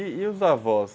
E os avós?